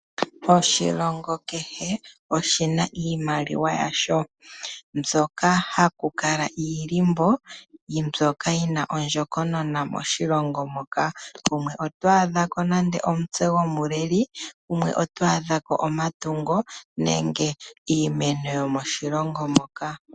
Oshilongo kehe oshina iimaliwa yasho, mbyoka ha ku ka talwa iilimbo mbyoka yina ondjokonona moshilongo mpoka. Gumwe otwaa dhako nande omutse gomuleli, gumwe otwaa dhako omatungo nenge iimeno yomoshilongo mpoka.